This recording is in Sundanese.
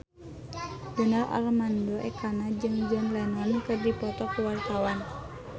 Donar Armando Ekana jeung John Lennon keur dipoto ku wartawan